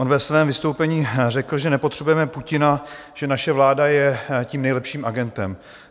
On ve svém vystoupení řekl, že nepotřebujeme Putina, že naše vláda je tím nejlepším agentem.